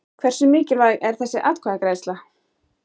Hversu mikilvæg er þessi atkvæðagreiðsla?